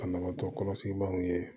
Ka banabaatɔ kɔlɔsi maaw ye